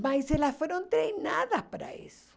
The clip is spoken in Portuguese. Mas elas foram treinadas para isso.